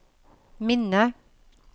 minne